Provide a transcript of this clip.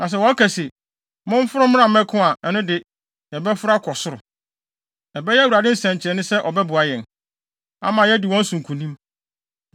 Na sɛ wɔka se, ‘Momforo mmra mmɛko’ a, ɛno de, yɛbɛforo akɔ soro. Ɛbɛyɛ Awurade nsɛnkyerɛnne sɛ ɔbɛboa yɛn, ama yɛadi wɔn so nkonim.”